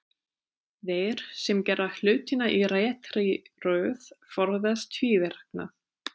Þeir sem gera hlutina í réttri röð forðast tvíverknað.